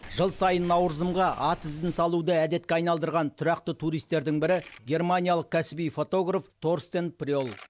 жыл сайын наурызымға ат ізін салуды әдетке айналдырған тұрақты туристердің бірі германиялық кәсіби фотограф торстен прёл